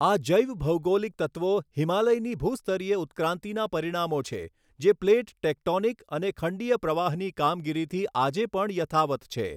આ જૈવભૌગોલિક તત્વો હિમાલયની ભૂસ્તરીય ઉત્ક્રાંતિના પરિણામો છે જે પ્લેટ ટેક્ટોનિક અને ખંડીય પ્રવાહની કામગીરીથી આજે પણ યથાવત્ છે.